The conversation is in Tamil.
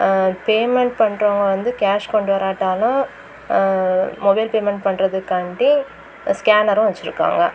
ஆ பேமெண்ட் பண்றவங்க வந்து கெஷ் கொண்டு வராட்டாலு மொபைல் பேமெண்ட் பண்றதுக்காண்டி ஸ்கேனரு வச்சிருக்காங்க.